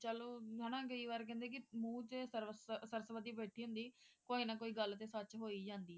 ਚਲੋ ਹੈ ਨਾ ਕਹਿ ਨਾ ਮੂੰਹ ਚ ਸਵਰ`ਸਰਸਵਤੀ ਬੈਠੀ ਹੁੰਦੀ ਕੋਈ ਨਾ ਕੋਈ ਗੱਲ ਤੇ ਸੱਚ ਹੋ ਹੀ ਜਾਂਦੀ ਹੈ